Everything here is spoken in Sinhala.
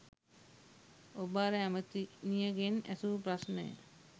ඔබ අර ඇමැතිනියගෙන් ඇසූ ප්‍රශ්නය